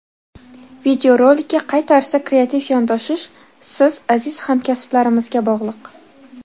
Videorolikka qay tarzda kreativ yondoshish siz aziz hamkasblarimizga bog‘liq.